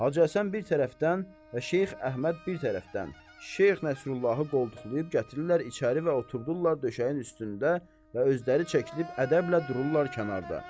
Hacı Həsən bir tərəfdən və Şeyx Əhməd bir tərəfdən, Şeyx Nəsrullahı qoltuqlayıb gətirirlər içəri və oturdurlar döşəyin üstündə və özləri çəkilib ədəblə dururlar kənarda.